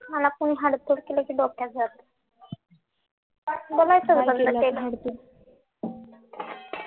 मला कोणी हाड तुड केलं कि डोक्यात जातं